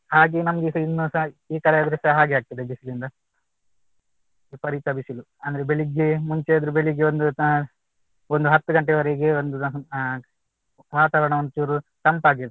ಹಾಗೇ ನಮ್ಗೆಸ ಇನ್ನುಸ ಈ ತರ ಇದ್ರೇಸ ಹಾಗೆ ಆಗ್ತದೆ ಬಿಸ್ಲಿನ್ದ. ವಿಪರೀತ ಬಿಸಿಲು ಅಂದ್ರೆ ಬೆಳಿಗ್ಗೆ ಮುಂಚೆ ಆದ್ರೂ ಬೆಳಿಗ್ಗೆ ಒಂದು ಒಂದು ಹತ್ತು ಗಂಟೆವರೆಗೆ ಒಂದ್ ಅಹ್ ವಾತಾವರಣ ಒಂಚೂರು ತಂಪಾಗಿರ್ತಿತ್ತು .